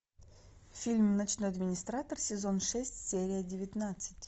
фильм ночной администратор сезон шесть серия девятнадцать